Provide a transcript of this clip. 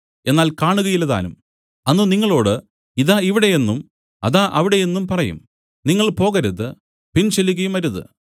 എന്നാൽ കാണുകയില്ലതാനും അന്ന് നിങ്ങളോടു ഇതാ ഇവിടെ എന്നും അതാ അവിടെ എന്നും പറയും നിങ്ങൾ പോകരുത് പിൻ ചെല്ലുകയുമരുത്